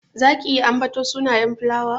Zaki iya ambaton sunayen filawa?